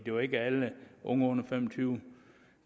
jo ikke alle unge under fem og tyve